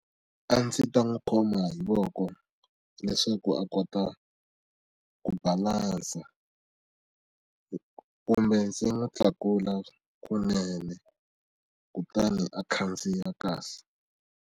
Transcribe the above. A ndzi ta n'wi khoma hi voko leswaku a kota ku balansa kumbe ndzi n'wi tlakula kunene kutani a khandziya kahle.